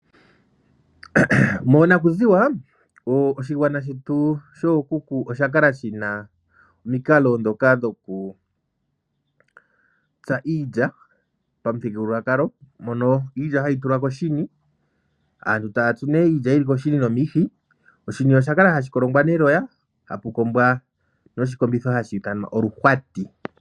Monaku ziwa oshigwana shetu shookuku osha kala shina omikalo ndhoka dhoku tsa iilya pamuthigululwakalo mono iilya hayi tulwa koshini aantu taya tsu iilya yili koshini nomihi oshini osha kala hashi kolongwa neloya hapu kombwa noluhwati.